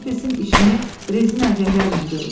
Ola bilsin işini rezin əlcəklərlə görüb.